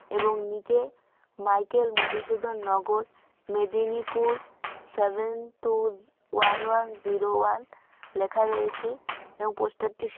এবং নীচে Michael Madhusudan Nagar Medinipur seven two one one zero one লেখা রয়েছে। এবং পোস্টার -টি--